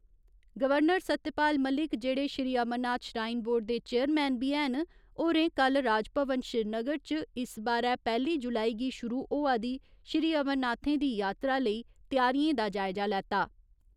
Governor Satyapal Malik जेहड़े Shri Amarnath shrine board दे chairman बी हैन, होरें कल्ल राजभवन श्रीनगर च इस बारै पैह्‌ली जुलाई गी शुरू होआ दी श्री अमरनाथें दी यात्रा लेई त्यारियें दा जायजा लैता।